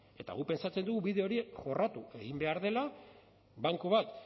eta guk pentsatzen dugu bide hori jorratu egin behar dela banku bat